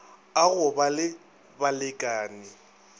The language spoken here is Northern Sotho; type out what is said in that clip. a go ba le balekane